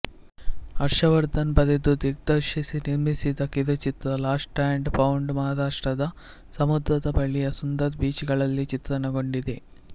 ಹರ್ಷವರ್ಧನ್ ಬರೆದು ದಿಗ್ದರ್ಶಿಸಿ ನಿರ್ಮಿಸಿದ ಕಿರುಚಿತ್ರ ಲಾಸ್ಟ್ ಅಂಡ್ ಫೌಂಡ್ ಮಹಾರಾಷ್ಟ್ರದ ಸಮುದ್ರದ ಬಳಿಯ ಸುಂದರ ಬೀಚ್ ಗಳಲ್ಲಿ ಚಿತ್ರಣಗೊಂಡಿದೆ